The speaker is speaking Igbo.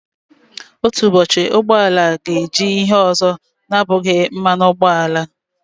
Otu ụbọchị, ụgbọ ala ga-eji ihe ọzọ na-abụghị mmanụ ụgbọala.